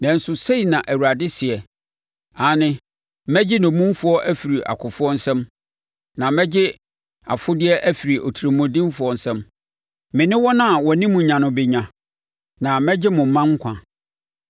Nanso, sei na Awurade seɛ: “Aane, mɛgye nnommumfoɔ afiri akofoɔ nsam na mɛgye afodeɛ afiri otirimuɔdenfoɔ nsam; me ne wɔn a wɔne mo nya no bɛnya na mɛgye mo mma nkwa.